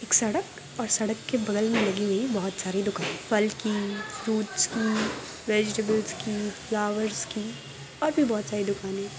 सड़क और सड़क के बगल में लगी हुई बहुत सारी दुकान फल की फ्रूट्स की वेजिटेबल्स की फ्लावर्स की और भी बहुत सारी दुकानें --